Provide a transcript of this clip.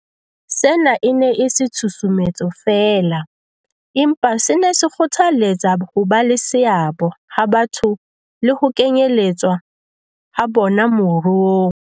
Sena e ne e se tshusumetso feela, empa se ne se kgothalletsa hoba le seabo ha batho le ho kenyeletswa ha bona moruong.